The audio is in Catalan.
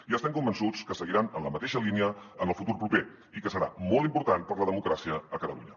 i estem convençuts que seguiran en la mateixa línia en el futur proper i que serà molt important per a la democràcia a catalunya